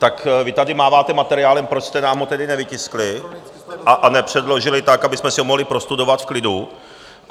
Tak vy tady máváte materiálem, proč jste nám ho tedy nevytiskli a nepředložili tak, abychom si ho mohli prostudovat v klidu?